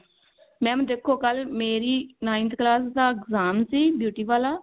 mam ਦੇਖੋ ਕੱਲ ਮੇਰੀ ninth class ਦਾ exam ਸੀ duty ਵਾਲਾ